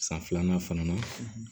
San filanan fana na